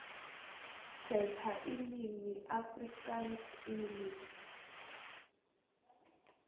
khetha ilimi afrikaansenglish